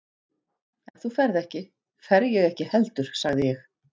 Ef þú ferð ekki, fer ég ekki heldur sagði ég.